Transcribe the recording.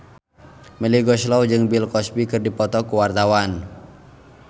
Melly Goeslaw jeung Bill Cosby keur dipoto ku wartawan